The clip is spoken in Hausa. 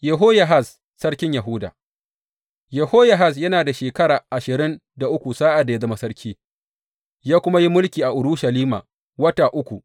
Yehoyahaz sarkin Yahuda Yehoyahaz yana da shekara ashirin da uku sa’ad da ya zama sarki, ya kuma yi mulki a Urushalima wata uku.